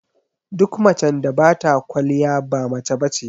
Duk macen da bata kwaliya ba mace bace